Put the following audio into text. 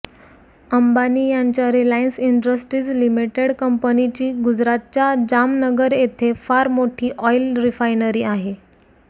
अंबानी यांच्या Reliance Industries Limited कंपनीची गुजरातच्या जामनगर येथे फार मोठी ऑइल रिफायनरी आहे